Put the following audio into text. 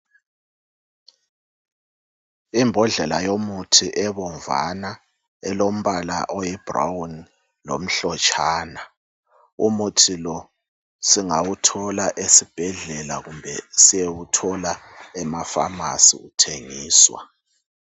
Imbodlela yomuthi ebomvana elombala oyibrown lomhlotshana umuthi lo singawuthola esibhedlela kumbe siyewuthola emaFamasi uthengiswa.